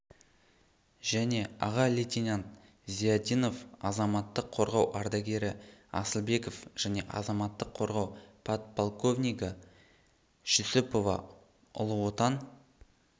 және аға лейтенант зиядинов азаматтық қорғау ардагері асылбеков және азаматтық қорғау подполковнигі жүсіпова ұлы отан